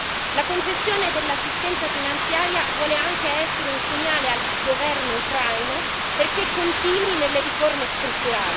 La concessione dell'assistenza finanziaria vuole anche essere un segnale al governo ucraino perché continui nelle riforme strutturali.